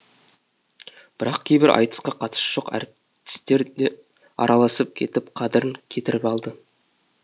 бірақ кейбір айтысқа қатысы жоқ әртістер де араласып кетіп қадірін кетіріп алды